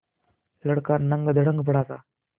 लड़का नंगधड़ंग पड़ा था